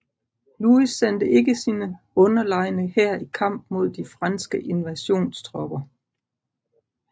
Louis sendte ikke sin underlegne hær i kamp mod de franske invasionstropper